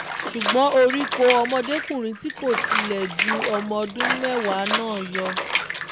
ṣùgbọ́n orí kọ́ ọmọdékùnrin tí kò tí ì le ju ọmọ ọdún mẹ́wàá náà yọ